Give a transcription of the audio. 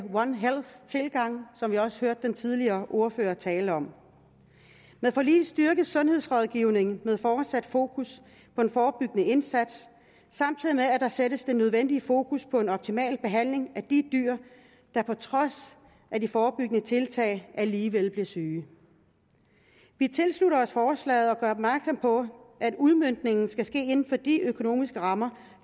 one health tilgang som vi også hørte den tidligere ordfører tale om med forliget styrkes sundhedsrådgivningen med fortsat fokus på den forebyggende indsats samtidig med at der sættes det nødvendige fokus på en optimal behandling af de dyr der på trods af de forebyggende tiltag alligevel bliver syge vi tilslutter os forslaget og gør opmærksom på at udmøntningen skal ske inden for de økonomiske rammer